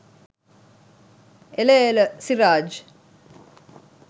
එල එල සිරාජ්